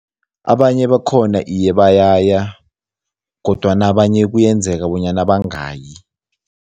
Abanye bakhona iye, bayaya kodwana abanye kuyenzeka bonyana bangayi.